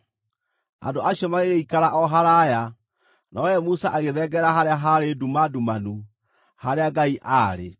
Andũ acio magĩgĩikara o haraaya, nowe Musa agĩthengerera harĩa haarĩ nduma ndumanu, harĩa Ngai aarĩ.